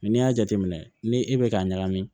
n'i y'a jateminɛ ni e bɛ k'a ɲagami